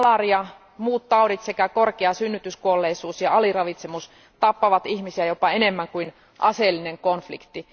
Malaria, muut taudit sekä korkea synnytyskuolleisuus ja aliravitsemus tappavat ihmisiä jopa enemmän kuin aseellinen konflikti.